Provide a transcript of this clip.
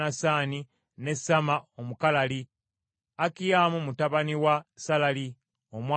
ne Samma Omukalali, Akiyamu mutabani wa Salali Omwalali,